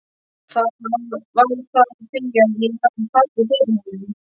Var það af því að ég hafði fallið fyrir honum?